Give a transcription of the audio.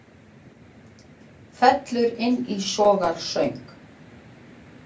Fellur inn í sorgarsöng